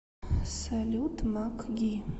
салют макги